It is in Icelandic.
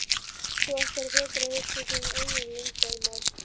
Þú ættir frekar að hugsa um þín eigin leyndarmál!